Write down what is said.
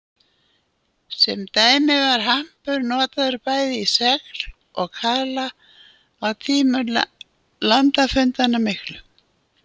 Sem dæmi var hampur notaður bæði í segl og kaðla á tímum landafundanna miklu.